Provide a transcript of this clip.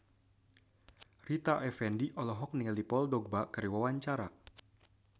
Rita Effendy olohok ningali Paul Dogba keur diwawancara